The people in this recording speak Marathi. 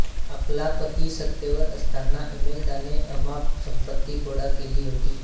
आपला पती सत्तेवर असताना इमेल्दाने अमाप संपत्ती गोळा केली होती